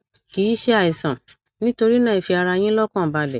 kì í ṣe àìsàn nítorí náà ẹ fi ara yín lọkàn balẹ